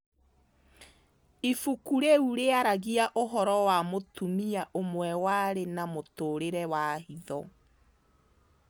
Ibuku rĩu rĩaragia ũhoro wa mũtumia ũmwe warĩ na mũtũũrĩre wa hitho.